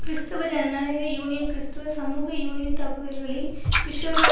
கிறிஸ்தவ ஜனநாயக யூனியன் கிறிஸ்தவ சமூக யூனியன் தாக்குதல்களை பிஷ்ஷரோ